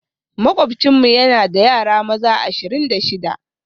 Makwabcinmu yana da yara maza ashirin da shida